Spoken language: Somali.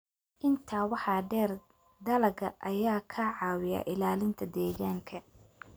Intaa waxaa dheer, dalagga ayaa ka caawiya ilaalinta deegaanka.